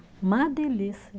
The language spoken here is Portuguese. Uma delícia.